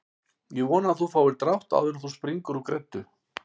Ég vona að þú fáir drátt áður en þú springur úr greddu